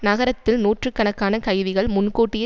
நகரத்தில் நூற்று கணக்கான கைதிகள் முன்கூட்டியே